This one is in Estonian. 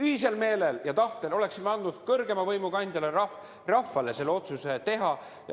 Ühisel meelel ja tahtel oleksime andnud kõrgeima võimu kandjale, rahvale, selle otsuse teha.